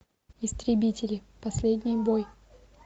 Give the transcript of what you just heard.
истребители последний бой